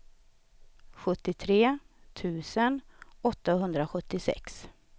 sjuttiotre tusen åttahundrasjuttiosex